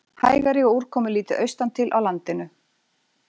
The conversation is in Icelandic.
Hægari og úrkomulítið austantil á landinu